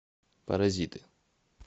паразиты